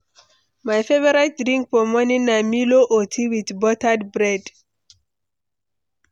My favorite drink for morning na milo or tea with buttered bread.